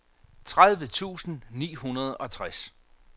tredive tusind ni hundrede og tres